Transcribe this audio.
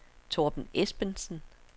Torben Esbensen